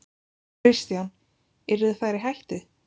Kristján: Yrðu þær í hættu?